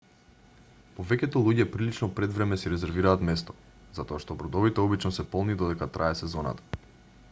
повеќето луѓе прилично предвреме си резервираат место затоа што бродовите обично се полни додека трае сезоната